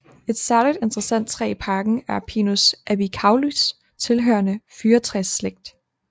Et særligt interessant træ i parken er Pinus albicaulis tilhørende fyrretræsslægt